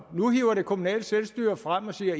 nu hiver det kommunale selvstyre frem og siger